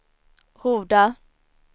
Horda